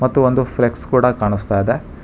ಮತ್ತು ಒಂದು ಫ್ಲೆಕ್ಸ್ ಕೂಡ ಕಾಣಿಸ್ತಾ ಇದೆ.